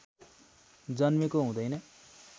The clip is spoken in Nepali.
जन्मेको हुँदैन